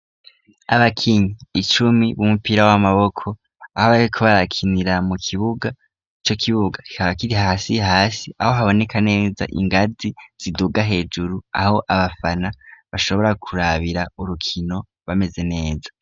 Aba kinyi icumi b'umupira w'amaboko aho barikobarakinira mu kibuga co kibuga ikabakiri hasi hasi aho haboneka neza ingazi ziduga hejuru aho abafana bashobora kurabira urukino bameze neza.